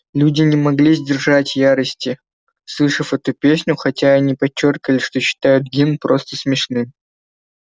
люди не могли сдержать ярости слышав эту песню хотя они подчёркивали что считают гимн просто смешным